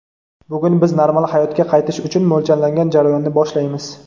Bugun biz normal hayotga qaytish uchun mo‘ljallangan jarayonni boshlaymiz.